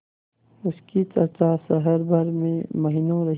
उसकी चर्चा शहर भर में महीनों रही